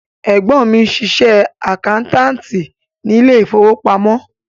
Ẹ̀gbọ́n mi ń ṣiṣẹ́ àkáńtáàtì ní ilé ìfowópamọ́.